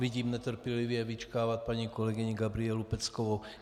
Vidím netrpělivě vyčkávat paní kolegyni Gabrielu Peckovou.